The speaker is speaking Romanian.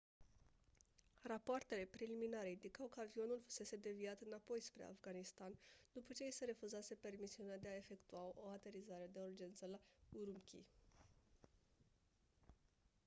rapoartele preliminare indicau că avionul fusese deviat înapoi spre afganistan după ce i se refuzase permisiunea de a efectua o aterizare de urgență la ürümqi